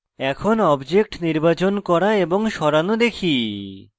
এখন objects নির্বাচন করা এবং সরানো দেখি